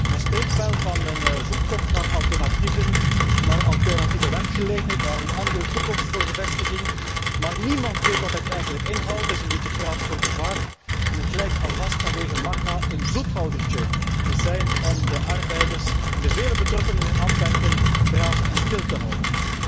Men spreekt wel van een zoektocht naar alternatieven, naar alternatieve werkgelegenheid, naar een andere toekomst voor de vestiging, maar niemand weet wat dat eigenlijk inhoudt. Het is een beetje praat voor de vaak en het lijkt voorlopig een zoethoudertje te zijn om de arbeiders en de vele betrokkenen in Antwerpen braaf en stil te houden.